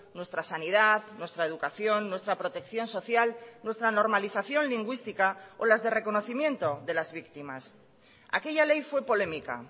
nuestra sanidad nuestra educación nuestra protección social nuestra normalización lingüística o las de reconocimiento de las víctimas aquella ley fue polémica